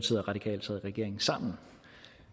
og